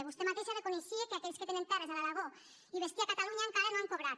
vostè mateixa reconeixia que aquells que tenen terres a l’aragó i bestiar a catalunya encara no han cobrat